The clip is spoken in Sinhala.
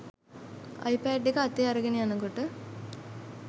අයිපෑඩ් එක අතේ අරගෙන යනකොට